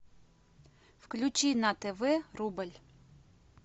включи на тв рубль